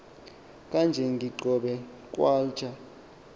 khange ndibone nkwalchwa